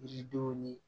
Yiridenw ni